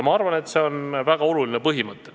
Ma arvan, et see on väga oluline põhimõte.